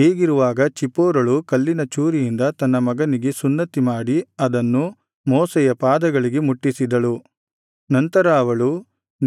ಹೀಗಿರುವಾಗ ಚಿಪ್ಪೋರಳು ಕಲ್ಲಿನ ಚೂರಿಯಿಂದ ತನ್ನ ಮಗನಿಗೆ ಸುನ್ನತಿ ಮಾಡಿ ಅದನ್ನು ಮೋಶೆಯ ಪಾದಗಳಿಗೆ ಮುಟ್ಟಿಸಿದಳು ನಂತರ ಅವಳು